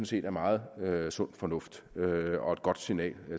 set er meget sund fornuft og et godt signal